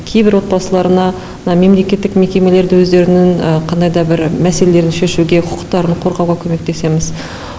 кейбір отбасыларына мына мемлекеттік мекемелерді өздерінің қандайда бір мәселелерін шешуге құқықтарын қорғауға көмектесеміз